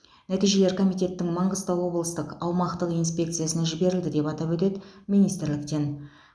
нәтижелер комитеттің маңғыстау облыстық аумақтық инспекциясына жіберілді деп атап өтеді министрліктен